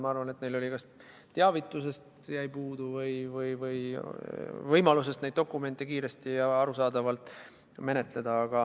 Ma arvan, et neil jäi puudu teavitusest või võimalusest neid dokumente kiiresti ja arusaadavalt menetleda.